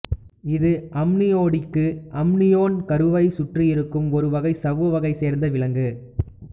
இது அம்னியோடிக்கு அம்னியோன் கருவைச் சுற்றியிருக்கும் ஒரு வகைச் சவ்வு வகையைச் சேர்ந்த விலங்கு